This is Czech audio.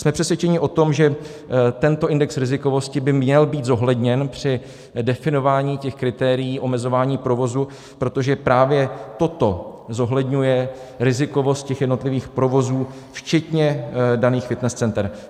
Jsme přesvědčeni o tom, že tento index rizikovosti by měl být zohledněn při definování těch kritérií omezování provozu, protože právě toto zohledňuje rizikovost těch jednotlivých provozů včetně daných fitness center.